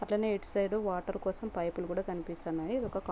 అట్లనే ఇటు side water కోసం పైపులు కూడా కనిపిస్తున్నా --